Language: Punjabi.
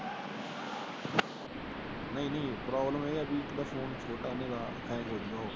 ਨਹੀਂ ਨਹੀਂ, ਪ੍ਰੋਬਲਮ ਇਹ ਏ ਵੀ ਉਹਦਾ ਫੋਨ ਛੋੱਟਾ ਏ, ਹੈਂਗ ਹੋ ਜੁ ਗਾ।